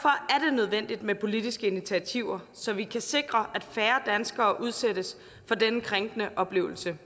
nødvendigt med politiske initiativer så vi kan sikre at færre danskere udsættes for denne krænkende oplevelse